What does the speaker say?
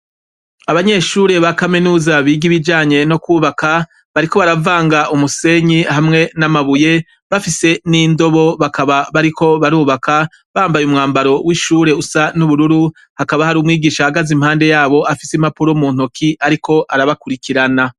Abanyeshure ba kaminuza bigi ibijanye no kwubaka bariko baravanga umusenyi hamwe n'amabuye bafise n'indobo bakaba bariko barubaka bambaye umwambaro w'ishure usa n'ubururu hakaba hari umwigisha ahagaze impande yabo afise impapuro'mu ntoki, ariko arabakurikirana.